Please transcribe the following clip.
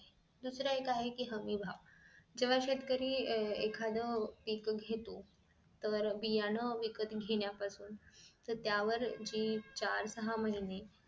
दुसरं एक आहे कि हमी भाव जेंव्हा शेतकरी एखाद्या पीक घेतो तर बियाणं विकत घेण्यापासून तर त्या वर जी चार सहा महिने